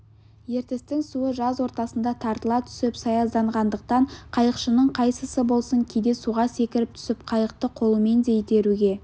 ертістің суы жаз ортасында тартыла түсіп саязданғандықтан қайықшының қайсысы болсын кейде суға секіріп түсіп қайықты қолымен де итеруге